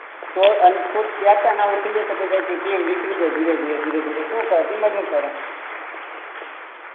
તો ને captain out થઇ જાય તો આખી ટીમ નીકળી જાય ધીરે ધીરે કરી ને શું કરે ટીમે હું કરે